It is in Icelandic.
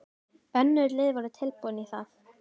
Önnur lið voru tilbúin í það.